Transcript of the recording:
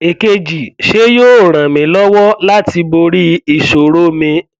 èkejì ṣé yóò ràn mí lọwọ láti borí ìṣòro mi